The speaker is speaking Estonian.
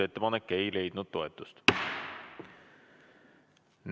Ettepanek ei leidnud toetust.